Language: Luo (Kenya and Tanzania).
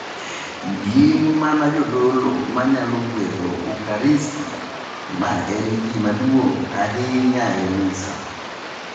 Gin mana jodolo ema nyalo gwedho Ukaristia, ma en gima duong’ ahinya e Misa.